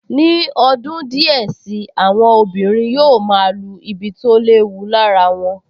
Ní ọdún díẹ̀ sí i, àwọn obìnrin yóò máa lu ibi tó léwu lára wọn